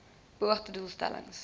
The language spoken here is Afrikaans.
beoogde doel stellings